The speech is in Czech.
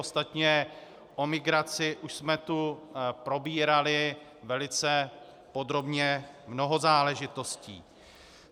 Ostatně o migraci už jsme tu probírali velice podrobně mnoho záležitostí.